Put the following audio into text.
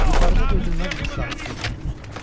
Yuxarıda dözülməz bir sakitlik hökm sürürdü.